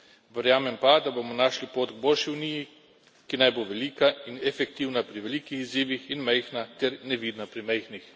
Verjamem pa, da bomo našli pot k boljši Uniji, ki naj bo velika in efektivna pri velikih izzivih in majhna ter nevidna pri majhnih.